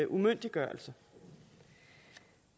umyndiggørelse